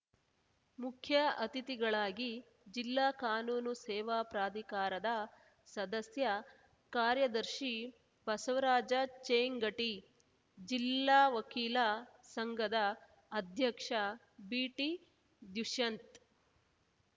ಮುಖ್ಯ ಅತಿಥಿಗಳಾಗಿ ಜಿಲ್ಲಾ ಕಾನೂನು ಸೇವಾ ಪ್ರಾಧಿಕಾರದ ಸದಸ್ಯ ಕಾರ್ಯದರ್ಶಿ ಬಸವರಾಜ ಚೇಂಗಟಿ ಜಿಲ್ಲಾ ವಕೀಲ ಸಂಘದ ಅಧ್ಯಕ್ಷ ಬಿಟಿದುಶ್ಯಂತ್‌